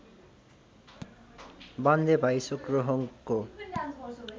बाणले भाइ सेक्रोहोङको